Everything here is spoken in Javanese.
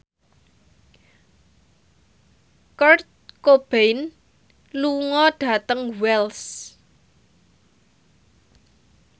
Kurt Cobain lunga dhateng Wells